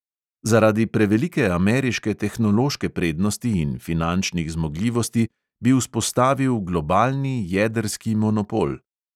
Zaradi prevelike ameriške tehnološke prednosti in finančnih zmogljivosti bi vzpostavil globalni jedrski monopol.